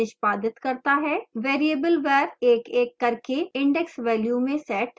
variable var एक एक करके index values में set होगा